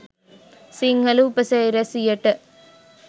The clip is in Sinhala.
සිංහල උපසිරැසියට.